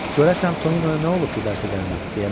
Görəsən Toninoya nə olub ki, dərsə gəlməyib?